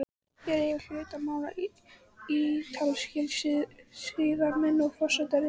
Hér eiga hlut að máli ítalskir siðameistarar og forsetaritari.